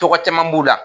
Tɔgɔ caman b'u la